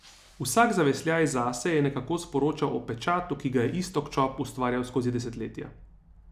Vsak zavesljaj zase je nekako sporočal o pečatu, ki ga je Iztok Čop ustvarjal skozi desetletja.